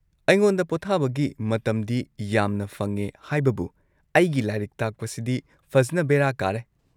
ꯑꯩꯉꯣꯟꯗ ꯄꯣꯊꯥꯕꯒꯤ ꯃꯇꯝꯗꯤ ꯌꯥꯝꯅ ꯐꯪꯉꯦ ꯍꯥꯏꯕꯕꯨ ꯑꯩꯒꯤ ꯂꯥꯏꯔꯤꯛ ꯇꯥꯛꯄꯁꯤꯗꯤ ꯐꯖꯟꯅ ꯕꯦꯔꯥ ꯀꯥꯔꯦ꯫